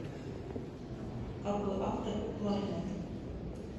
какой автор у кларнет